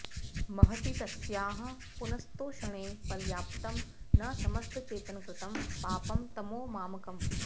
महती तस्याः पुनस्तोषणे पर्याप्तं न समस्तचेतनकृतं पापं ततो मामकम्